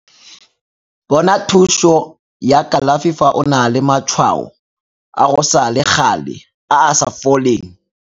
Bona thuso ya kalafi fa o na le matshwao a go sa le gale a a sa foleng.